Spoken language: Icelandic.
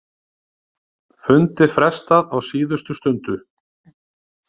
Fundi frestað á síðustu stundu